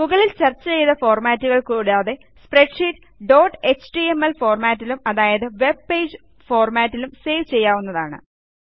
മുകളിൽ ചർച്ച ചെയ്ത ഫോർമാറ്റുകൾ കൂടാതെ സ്പ്രെഡ്ഷീറ്റ് ഡോട്ട് എച്ടിഎംഎൽ ഫോർമാറ്റിലും അതായത് വെബ് പേജ് ഫോർമാറ്റിലും സേവ് ചെയ്യാവുന്നതാണ്